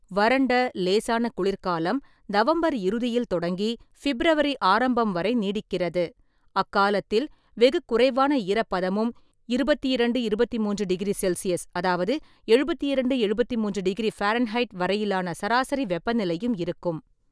வறண்ட, லேசான குளிர்காலம் நவம்பர் இறுதியில் தொடங்கி ஃபிப்ரவரி ஆரம்பம் வரை நீடிக்கிறது, அக்காலத்தில் வெகு குறைவான ஈரப்பதமும் இருபத்தி இரண்டு–இருபத்தி மூன்று டிகிரி செல்சியஸ் அதாவது (எழுபத்திரண்டு-எழுபத்தி மூன்று)டிகிரி ஃபாரன்ஹைட் வரையிலான சராசரி வெப்பநிலையும் இருக்கும்.